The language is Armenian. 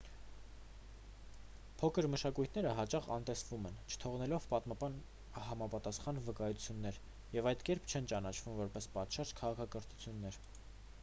փոքր մշակույթները հաճախ անհետանում են չթողնելով պատմական համապատասխան վկայություններ և այդ կերպ չեն ճանաչվում որպես պատշաճ քաղաքակրթություններ